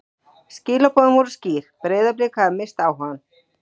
Skilaboðin voru skýr: Breiðablik hafði misst áhugann.